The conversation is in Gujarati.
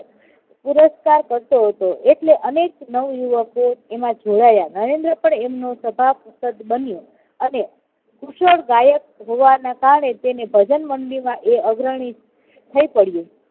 પુરષ્કાર કરતો હતો એટલે અનેક નવયુવકો એમાં જોડાયા નરેન્દ્ર પણ એમનો સભા સદ બન્યો અને કુશળ ગાયક હોવાના કારણે તેને ભજનમંડળીમાં એ અગ્રણી થઇ પડ્યું.